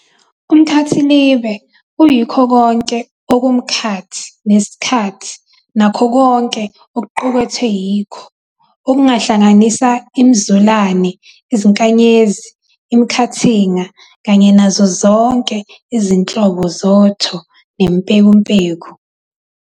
uMkhathilibe uyikho konke okomkhathi nesikhathi nakho konke okuqukethwe yikho, okungahlanisa imiZulane, iziNkanyezi, iMikhathinga, kanye nazo zonke izinhlobo zoTho neMpekumpeku.